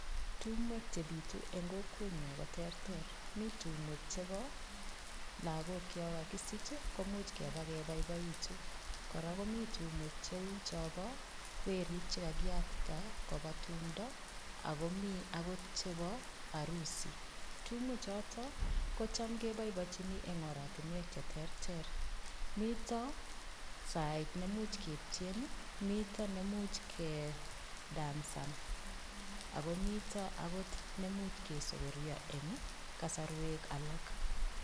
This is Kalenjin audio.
Tumwek chepitu eng kokwenyo ko che terter. Mi tumwek chebo lagok chekakisich komuch keba keboiboitu. Kora komi tumwek cheu chobo werik chekakiyatita, koba tumto, akomi akot chebo arusi. Tumwechotok kocham keboibochini eng oratinwek cheterter. Mito sait nemuch ketien, mito nemuch kedansan ako mito nemuch kesogorio eng kosarwek alak.